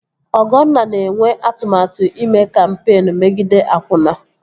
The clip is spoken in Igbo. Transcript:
Ọgọnna na-enwe atụmatụ ime kampeen megide akwụna